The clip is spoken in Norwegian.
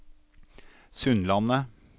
Sundlandet